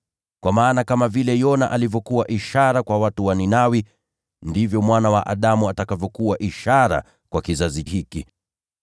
Kwa maana kama vile Yona alivyokuwa ishara kwa watu wa Ninawi, ndivyo Mwana wa Adamu atakavyokuwa ishara kwa kizazi hiki.